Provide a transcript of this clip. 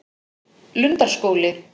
Lundarskóli